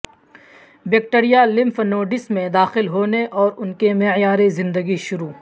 bacteria lymph nodes میں داخل ہونے اور ان کے معیار زندگی شروع